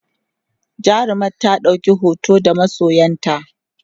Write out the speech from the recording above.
jarumar ta ɗauki hoto da masoyanta?